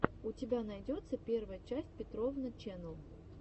у тебя найдется первая часть петровна ченнэл